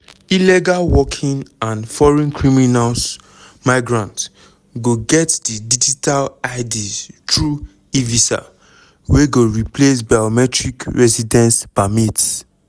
illegal working and foreign criminals migrants go get di digital ids through evisa wey go replace biometric residence permits.